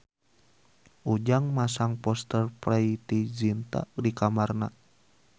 Ujang masang poster Preity Zinta di kamarna